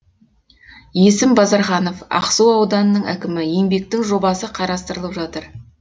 есім базарханов ақсу ауданының әкімі еңбектің жобасы қарастырылып жатыр